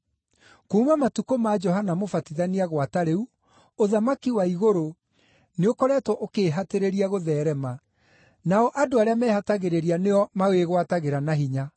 Kuuma matukũ ma Johana Mũbatithania gwata rĩu, ũthamaki wa igũrũ nĩũkoretwo ũkĩĩhatĩrĩria gũtheerema, nao andũ arĩa mehatagĩrĩria nĩo mawĩgwatagĩra na hinya.